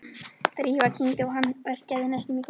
Drífa kyngdi og hana verkjaði næstum í kokið.